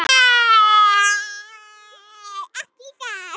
Hvert er efnið?